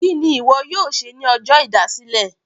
Kíni ìwọ yóò ṣe ní ọjọ́ ìdásílẹ̀?